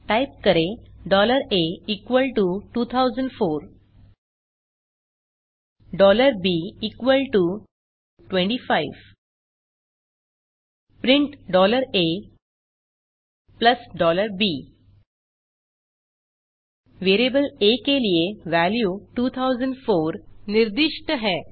type करें a 2004 b 25 print a b variable आ के लिए वेल्यू 2004 निर्दिष्ट है